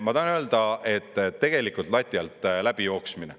Ma tahan öelda, et tegelikult on lati alt läbi jooksmine.